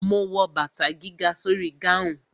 Ma wo bàtà gíga sórí gáhùn.